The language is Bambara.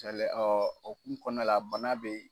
Tɛlɛ ɔ o hokumu kɔnɔna la bana bɛ ye.